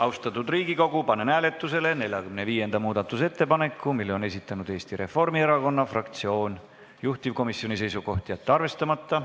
Austatud Riigikogu, panen hääletusele 45. muudatusettepaneku, mille on esitanud Eesti Reformierakonna fraktsioon, juhtivkomisjoni seisukoht: jätta see arvestamata.